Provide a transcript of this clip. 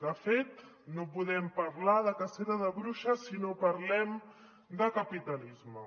de fet no podem parlar de cacera de bruixes si no parlem de capitalisme